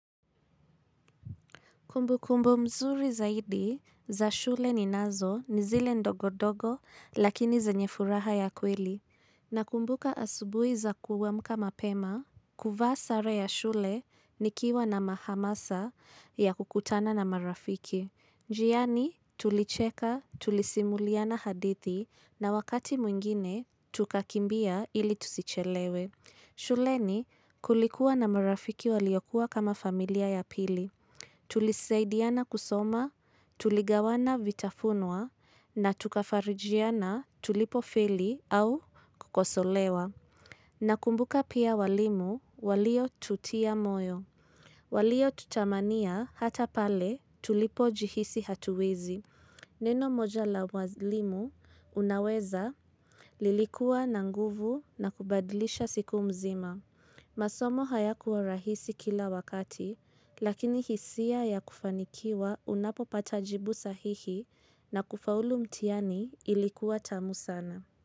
Kumbukumbo mzuri zaidi za shule ninazo ni zile ndogo dogo lakini zenye furaha ya kweli. Nakumbuka asubui za kuamka mapema, kuvaa sare ya shule nikiwa na ma hamasa ya kukutana na marafiki. Njiani tulicheka tulisimuliana hadithi na wakati mwingine tukakimbia ili tusichelewe. Shuleni kulikuwa na marafiki waliokuwa kama familia ya pili. Tulisaidiana kusoma, tuligawana vitafunwa na tukafarijiana tulipofeli au kukosolewa. Nakumbuka pia walimu waliotutia moyo. Waliotutamania hata pale tulipojihisi hatuwezi. Neno moja la walimu unaweza lilikuwa na nguvu na kubadilisha siku mzima. Masomo hayakuwa rahisi kila wakati, lakini hisia ya kufanikiwa unapopata jibu sahihi na kufaulu mtiani ilikuwa tamu sana.